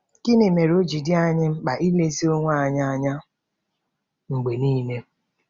Gịnị mere o ji dị anyị mkpa ilezi onwe anyị anya mgbe nile?